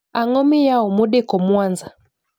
Ang'o miyao modeko mwanza?